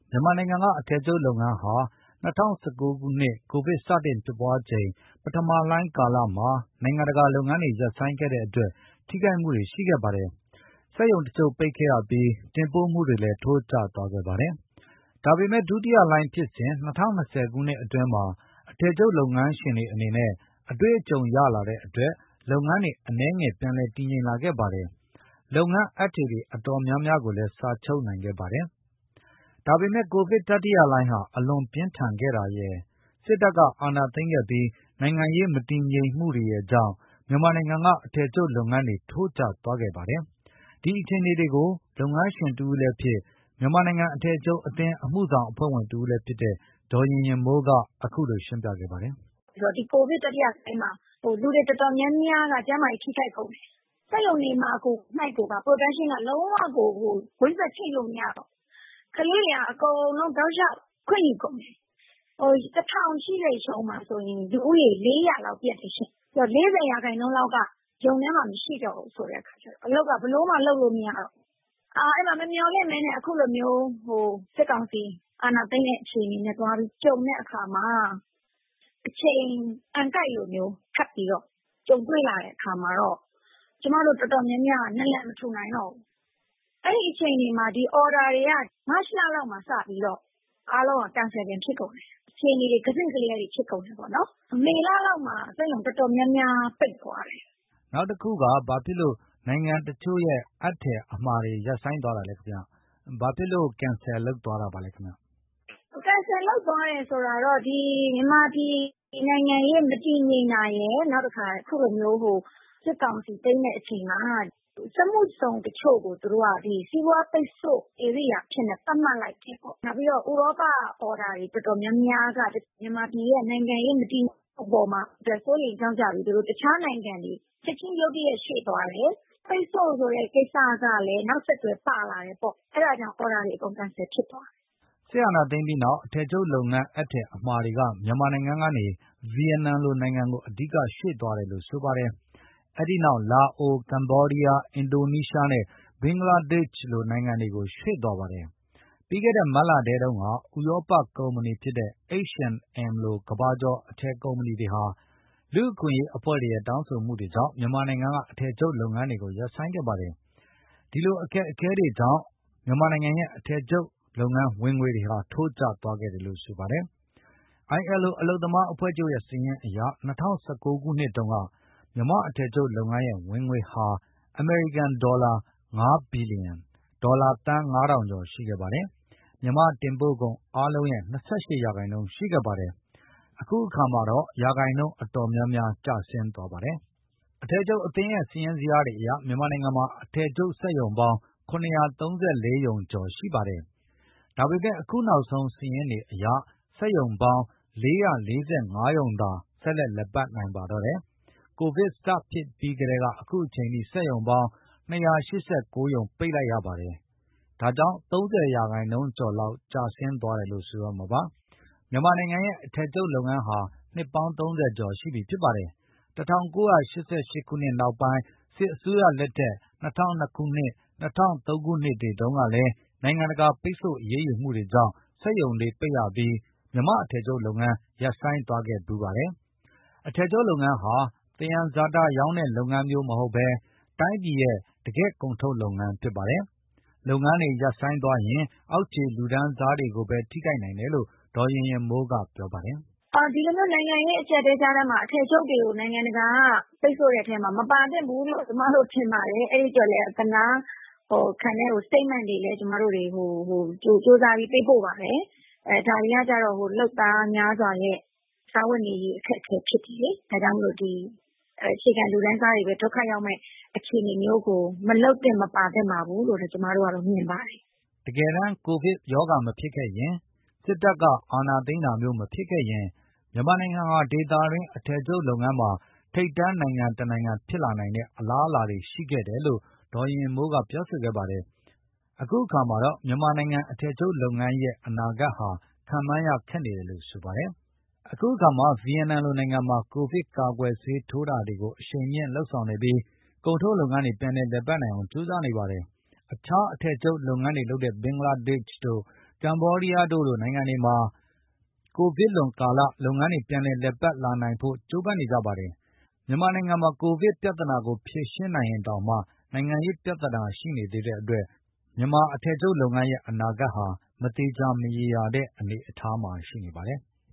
မြန်မာနိုင်ငံက အထည်ချုပ်လုပ်ငန်းဟာ ၂၀၁၉ ခုနှစ် ကိုဗစ်စတင်ဖြစ်ပွားချိန် ပထမလှိုင်း ကာလမှာ နိုင်ငံတကာက လုပ်ငန်းတွေ ရပ်ဆိုင်းခဲ့တဲ့အတွက် ထိခိုက်မှုတွေ ရှိခဲ့ပါတယ်။ စက်ရုံတချို့ ရပ်ဆိုင်းခဲ့ရပြီး တင်ပို့မှုတွေလည်း ထိုးကျသွားခဲ့ပါတယ်။ ဒါပေမယ့် ဒုတိယလှိုင်းဖြစ်စဉ် ၂၀၂၀ ခုနှစ်အတွင်းမှာ အထည်ချုပ်လုပ်ငန်းရှင်တွေ အနေနဲ့ အတွေ့အကြုံ ရလာတဲ့အတွက် လုပ်ငန်းတွေ အနည်းငယ် ပြန်လည်တည်ငြိမ်လာခဲ့ပါတယ်။ လုပ်ငန်းအပ်ထည်တွေ အတော်များများ စာချုပ်နိုင်ခဲ့ပါတယ်။ ဒါပေမယ့် ကိုဗစ်တတိယလှိုင်းဟာ အလွန်ပြင်းထန်ခဲ့တာရယ် စစ်တပ်က အာဏာသိမ်းခဲ့ပြီး နိုင်ငံရေး မတည်ငြိမ်မှုတွေရယ်ကြောင့် မြန်မာနိုင်ငံက အထည်ချုပ်လုပ်ငန်းတွေ ထိုးကျသွားခဲ့ပါတယ်။ အထည်ချုပ်ငန်းရှင်တဦးလည်းဖြစ် မြန်မာနိုင်ငံ အထည်ချုပ်အသင်း အမှုဆောင်အဖွဲ့ဝင်တဦးလည်း ဖြစ်တဲ့ ဒေါ်ရင်ရင်မိုးက အခုလို ရှင်းပြပါတယ်။ “ဒီ ကိုဗစ်တတိယလှိုင်းမှာ လူတွေအတော်များများက ကျန်းမာရေး ထိခိုက်ကုန်တယ်။ စက်ရုံတွေမှာကို Production က လုံးဝ ကွင်းဆက်ချိတ်လို့ မရတော့ဘူး။ ကလေးတွေက အကုန်လုံး တောက်လျှောက် ခွင့်ယူကုန်တယ်။ ၁,၀၀၀ ရှိတဲ့ ရုံမှာဆိုရင် လူဦးရေ ၄၀၀ လောက် ပျက်တယ်ရှင့်။ ဆိုတော့ ၄၀ ရာနှုန်းလောက်က ရုံထဲမှာမရှိတော့ဘူး ဆိုတဲ့အခါကျတော့ အလုပ်က ဘယ်လိုမှ လုပ်လို့မရတော့ဘူး။ အဲဒီမှာ မမျှော်လင့်ဘဲနဲ့ အခုလိုမျိုး စစ်ကောင်စီ အာဏာသိမ်းတဲ့ အခြေအနေနဲ့ သွားပြီးကြုံတဲ့အခါမှာ အချိန်က အံကိုက်လိုမျိုး ထပ်ပြီးတော့ ကြုံတွေ့ရတဲ့ အခါမှာတော့ ကျမတို့ အတော်များများ နာလန်မထူနိုင်တော့ဘူး။ အဲဒီအခြေအနေမှာ အော်ဒါတွေက မတ်လလောက်ကတည်းက စပြီးတော့ အားလုံးက Cancel တွေ ဖြစ်ကုန်တယ်။ အခြေအနေတွေ ကစဉ့်ကလျားတွေ ဖြစ်ကုန်တယ်ပေါ့နော်။ မေလလောက်မှာ စက်ရုံအတော်များများ ပိတ်သွားတယ်။” ကိုဇော်မိုးကျော် - နောက်တခုက ဘာဖြစ်လို့ နိုင်ငံတချို့ရဲ့ အပ်ထည်အမှာတွေ ရပ်ဆိုင်းသွားတာလဲခင်ဗျ။ ဘာဖြစ်လို့ Cancel လုပ်သွားတာလဲခင်ဗျ။ ဒေါ်ရင်ရင်မိုး - “Cancel သွားတယ်ဆိုတာက ဒီ မြန်မာပြည်နိုင်ငံရေး မတည်ငြိမ်တာရယ်၊ နောက်တခါ အခုလိုမျိုး စစ်ကောင်စီ သိမ်းတဲ့အချိန်မှာ စက်မှုဇုန်တချို့ကို သူတို့က ဒီ စီးပွားပိတ်ဆို့ ဧရိယာအဖြစ် သတ်မှတ်လိုက်တယ်ပေါ့။ နောက်ပြီးတော့ ဥရောပအော်ဒါ အတော်များများက မြန်မာနိုင်ငံရဲ့ နိုင်ငံရေး မတည်ငြိမ်မှုအပေါ်မှာ စိုးရိမ်ကြောင့်ကြပြီး သူတို့ တခြားနိုင်ငံတွေကို ချက်ချင်း ရုတ်တရက် ရွှေ့သွားတယ်။ ပိတ်ဆို့ဆိုတဲ့ ကိစ္စကလည်း နောက်ဆက်တွဲ ပါလာတယ်ပေါ့။ အဲဒါကြောင့် အော်ဒါတွေ အကုန် Cancel ဖြစ်သွားတယ်။” စစ်အာဏာသိမ်းပြီးနောက် အထည်ချုပ်လုပ်ငန်း အပ်ထည်အမှာတွေက မြန်မာနိုင်ငံကနေ ဗီယက်နမ်လိုနိုင်ငံကို အဓိကရွှေ့သွားတယ်လို့ ဆိုပါတယ်။ အဲဒီနောက် လာအို၊ ကမ္ဘောဒီးယား၊ အင်ဒိုနီးရှားနဲ့ ဘင်္ဂလားဒေ့ရှ်လို နိုင်ငံတွေကို ရွှေ့သွားပါတယ်။ ပြီးခဲ့တဲ့ မတ်လထဲတုန်းကလည်း ဥရောပကုမ္ပဏီဖြစ်တဲ့ H and M လို ကမ္ဘာကျော် အထည်ကုမ္ပဏီတွေဟာ လူ့အခွင့်အရေးအဖွဲ့တွေရဲ့ တောင်းဆိုမှုတွေကြောင့် မြန်မာနိုင်ငံက အထည်ချုပ်လုပ်ငန်းတွေကို ရပ်ဆိုင်းခဲ့ပါတယ်။ ဒီလို အခက်အခဲတွေကြောင့် အထည်ချုပ်လုပ်ငန်းရဲ့ ဝင်ငွေတွေ ထိုးကျသွားခဲ့တယ်လို့ ဆိုပါတယ်။ ILO အလုပ်သမားအဖွဲ့ချုပ်ရဲ့ စာရင်းအရ ၂၀၁၉ ခုနှစ်တုန်းက မြန်မာ့အထည်ချုပ်လုပ်ငန်းရဲ့ ဝင်ငွေဟာ အမေရိကန်ဒေါ်လာ ၅ ဘီလီယံ၊ ဒေါ်လာသန်း ၅,၀၀၀ ကျော် ရှိခဲ့ပါတယ်။ မြန်မာ့တင်ပို့ကုန်အားလုံးရဲ့ ၂၈ ရာခိုင်နှုန်း ရှိခဲ့ပါတယ်။ အခုအခါမှာတော့ ရာခိုင်နှုန်း အတော်များများ ကျဆင်းသွားပါတယ်။ အထည်ချုပ်အသင်းရဲ့ စာရင်းဇယားတွေအရ မြန်မာနိုင်ငံမှာ အထည်ချုပ်စက်ရုံပေါင်း ၇၃၄ ရုံကျော် ရှိခဲ့ပါတယ်။ ဒါပေမယ့် အခုနောက်ဆုံး စာရင်းတွေအရက စက်ရုံပေါင်း ၄၄၅ ရုံသာ ဆက်လက်လည်ပတ်နိုင်ပါတော့တယ်။ ကိုဗစ်စဖြစ်ပြီးကတည်းက အခုအချိန်အထိ စက်ရုံပေါင်း ၂၈၉ ရုံ ပိတ်လိုက်ရပါတယ်။ ၃၀ ရာခိုင်နှုန်းကျော်လောက် ကျဆင်းသွားတယ်လို့ ဆိုရမှာပါ။ မြန်မာနိုင်ငံရဲ့ အထည်ချုပ်လုပ်ငန်းဟာ နှစ်ပေါင်း ၃၀ ကျော်ရှိပါပြီ။ ၁၉၈၈ ခုနှစ်နောက်ပိုင်း စစ်တပ်အစိုးရလက်ထက် ၂၀၀၂၊ ၂၀၀၃ တုန်းကလည်း နိုင်ငံတကာ ပိတ်ဆို့အရေးယူမှုတွေကြောင့် စက်ရုံတွေပိတ်ရပြီး မြန်မာ့အထည်ချုပ်လုပ်ငန်း ရပ်ဆိုင်းသွားခဲ့ဖူးပါတယ်။ အထည်ချုပ်လုပ်ငန်းဟာ သယံဇာတရောင်းတဲ့ လုပ်ငန်းမျိုး မဟုတ်ဘဲ တိုင်းပြည်ရဲ့ တကယ့်ကုန်ထုတ်လုပ်ငန်း ဖြစ်ပါတယ်။ လုပ်ငန်းတွေ ရပ်ဆိုင်းသွားရင် အောက်ခြေလူတန်းစားတွေပဲ ထိခိုက်နိုင်တယ်လို့ ဒေါ်ရင်ရင်မိုးက ပြောပါတယ်။ “ဒီလိုမျိုး နိုင်ငံရေး အကျပ်အတည်းကြားထဲ အထည်ချုပ်တွေကို နိုင်ငံတကာက ပိတ်ဆို့တဲ့အထဲမှာ မပါသင့်ဘူးလို့ ကျမတို့ထင်ပါတယ်။ အဲဒီအတွက်လည်း ကျမတို့ အသနားခံတဲ့ Statement တွေလည်း ဟို ကြိုးစားပြီး ပေးပို့ပါတယ်။ အဲဒါတွေကတော့ လုပ်သားများစွာရဲ့ စားဝတ်နေရေး အခက်အခဲ ဖြစ်တယ်လေ။ ဒါကြောင့်မို့လို့ ဒီ အခြေခံလူတန်းစားတွေပဲ ဒုက္ခရောက်မယ့် အခြေအနေမျိုးကို မလုပ်သင့်၊ မပါသင့်ပါဘူးလို့ပဲ ကျမတို့က မြင်ပါတယ်။” တကယ်တမ်း ကိုဗစ်မဖြစ်ခဲ့ရင်၊ စစ်တပ်အာဏာသိမ်းတာမျိုး မဖြစ်ခဲ့ရင် မြန်မာနိုင်ငံဟာ ဒေသတွင်း အထည်ချုပ်လုပ်ငန်းမှာ ထိပ်တန်းနိုင်ငံတနိုင်ငံ ဖြစ်လာနိုင်တဲ့ အလားအလာတွေ ရှိခဲ့တယ်လို့ ဒေါ်ရင်ရင်မိုးက ဆိုပါတယ်။ အခုခါမှာတော့ မြန်မာနိုင်ငံရဲ့ အထည်ချုပ်လုပ်ငန်း အနာဂတ်ဟာ ခန့်မှန်းရခက်နေတယ်လို့ ဆိုပါတယ်။ အခုအခါ ဗီယက်နမ်လိုနိုင်ငံမှာ ကိုဗစ်ကာကွယ်ဆေးတွေ ထိုးတာတွေကို အရှိန်မြှင့် လုပ်ဆောင်နေပြီး ကုန်ထုတ်လုပ်ငန်းတွေ ပြန်လည် လည်ပတ်နိုင်အောင် ကြိုးပမ်းနေပါတယ်။ အခြား အထည်ချုပ်လုပ်ငန်းတွေလုပ်တဲ့ ဘင်္ဂလားဒေ့ရှ်တို့ ကမ္ဘောဒီးယားတို့လို နိုင်ငံတွေမှာ လုပ်ငန်းတွေ ပြန်လည် လည်ပတ်လာနိုင်ဖို့ ကြိုးပမ်းနေကြပါတယ်။ မြန်မာနိုင်ငံမှာတော့ ကိုဗစ်ပြဿနာကို ဖြေရှင်းနိုင်ရင်တောင်မှ နိုင်ငံရေးပြဿနာ ရှိနေသေးတဲ့အတွက် မြန်မာ့အထည်ချုပ်လုပ်ငန်းရဲ့ အနာဂတ်ဟာ မသေချာ မရေရာတဲ့ အနေအထားမှာ ရှိနေပါတယ်။